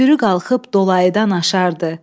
sürü qalxıb dolayıdan aşardı.